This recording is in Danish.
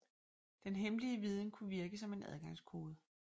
Den hemmelige viden kunne virke som en adgangskode